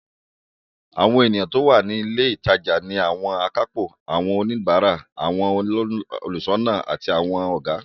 Àwọn ènìyàn tó wà ní ilé ìtajà ni àwọn akápò, àwọn oníbàárà, àwọn olùṣọ́nà àti àwọn Ọ̀gá